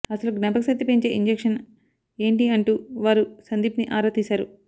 అసలు జ్ఞాపకశక్తి పెంచే ఇంజక్షన్ ఏంటి అంటూ వారు సందీప్ని ఆరా తీశారు